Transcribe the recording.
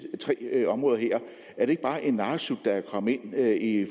tre områder her er det ikke bare en narresut at det er kommet med i